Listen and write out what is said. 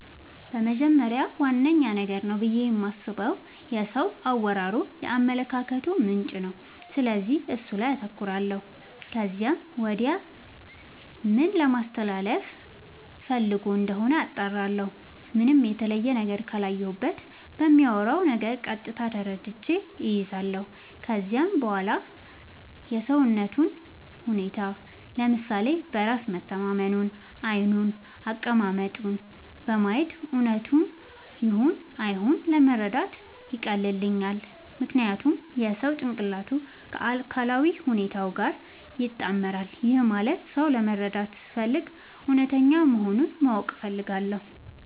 በመጀመሪያ ዋነኛ ነገር ነው ብዬ የማስበው የሰው አወራሩ የአመለካከቱ ምንጭ ነው፤ ስለዚህ እሱ ላይ አተኩራለው ከዚያም ወዲያ ምን ለማለስተላለፋ ፈልጎ እንደሆነ አጣራለሁ። ምንም የተለየ ነገር ካላየሁበት በሚያወራው ነገር ቀጥታ ተረድቼ እይዛለው። ከዚያም በዋላ የሰውነቱን ሁኔታ፤ ለምሳሌ በራስ መተማመኑን፤ ዓይኑን፤ አቀማመጡን በማየት እውነቱን ይሁን አይሁን መረዳት ያቀልልኛል። ምክንያቱም የሰው ጭንቅላቱ ከአካላዊ ሁኔታው ጋር ይጣመራል። ይህም ማለት ሰው ለመረዳት ስፈልግ እውነተኛ መሆኑን ማወቅ እፈልጋለው።